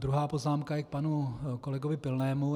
Druhá poznámka je k panu kolegovi Pilnému.